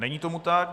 Není tomu tak.